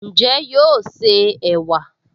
Ǹjẹ́ yóò se ẹ̀wà?